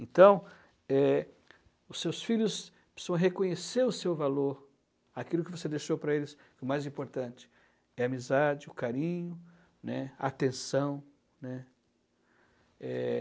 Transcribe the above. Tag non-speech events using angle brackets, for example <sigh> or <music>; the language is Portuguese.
Então, eh, os seus filhos <unintelligible> reconhecer o seu valor, aquilo que você deixou para eles, que o mais importante é a amizade, o carinho, né, a atenção, né? Eh...